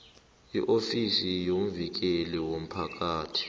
iofisi yomvikeli womphakathi